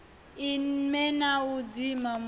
ime na u dzima mutshini